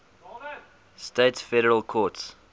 states federal courts